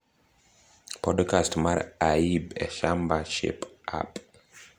Podcast mar AIB e shamba Shape Up